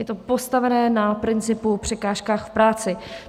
Je to postavené na principu překážek v práci.